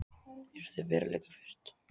Eru þau veruleikafirrt?